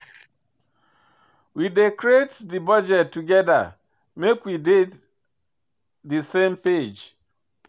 We dey create di budget togeda make we dey di same page.